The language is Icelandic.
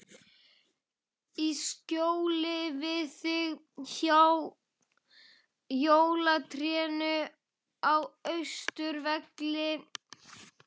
Í skjóli við þig, hjá jólatrénu á Austurvelli.